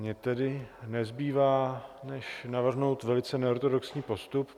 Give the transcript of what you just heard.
Mně tedy nezbývá než navrhnout velice neortodoxní postup.